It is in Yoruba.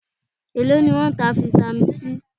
Èló ni wọ́n ń ta Vitamin C?